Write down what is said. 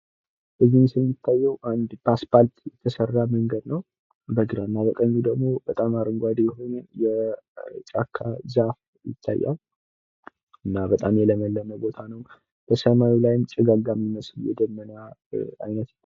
በዚህ ምስል የሚታዬው በአስፓልት የተሰራ መንገድ ነው። በግራና በቀኝ ደሞ በጣም አረጓዴ የሆነ የጫካ ዛፍ ይታያል። እና በጣም የለመለመ ቦታ ነው። ሰማዩ ላይም ጭጋጋም የሚመስል ደመና አይነት ይታያል።